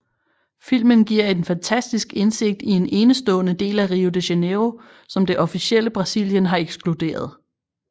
Filmen giver en fantastisk indsigt i en enestående del af Rio de Janeiro som det officielle Brasilien har ekskluderet